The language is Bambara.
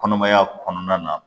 Kɔnɔmaya kɔnɔna na